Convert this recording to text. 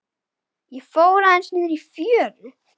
Ég fór aðeins niðrí fjöru.